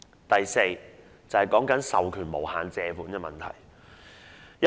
第四點關乎授權無限借款的問題。